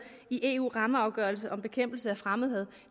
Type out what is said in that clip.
i eus rammeafgørelse om bekæmpelse af fremmedhad